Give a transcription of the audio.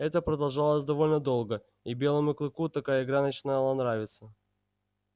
это продолжалось довольно долго и белому клыку такая игра начинала нравиться